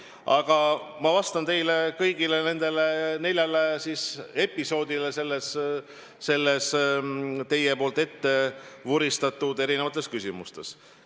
Aga ma vastan kõigile neljale episoodile nendes teie ette vuristatud küsimustes.